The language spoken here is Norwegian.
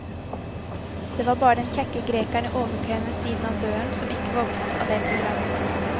Det var bare den kjekke grekeren i overkøyen ved siden av døren som ikke våknet av det programmet.